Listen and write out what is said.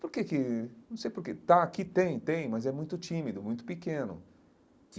Por que que, não sei porque, está aqui, tem, tem, mas é muito tímido, muito pequeno.